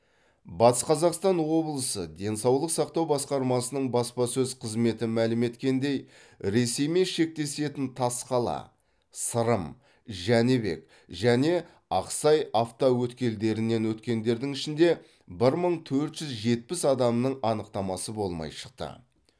батыс қазақстан облысы денсаулық сақтау басқармасының баспасөз қызметі мәлім еткендей ресеймен шектесетін тасқала сырым жәнібек және ақсай автоөткелдерінен өткендердің ішінде бір мың төрт жүз жетпіс адамның анықтамасы болмай шықты